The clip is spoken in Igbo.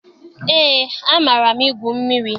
Eé, amaara m egwu mmiri.